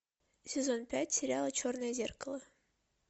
сезон пять сериала черное зеркало